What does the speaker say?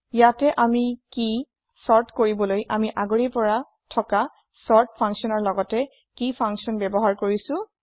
ইয়াতে আমি কি চৰ্ত্ কৰিবলৈ আমি আগৰেই পৰা থকা চৰ্ট ফাঙ্কচ্যনৰ লগতে কেই ফাঙ্কচ্যন ব্যৱহাৰ কৰিছো